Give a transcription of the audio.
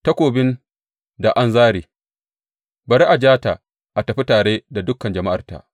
Takobin da an zāre; bari a ja ta a tafi tare da dukan jama’arta.